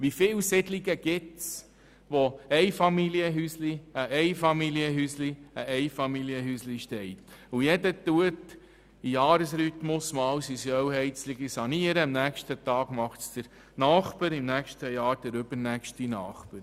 Wie viele Siedlungen gibt es, wo ein Einfamilienhäuschen neben dem anderen steht und im Jahresrhythmus jeweils ein Eigentümer seine kleine Ölheizung saniert?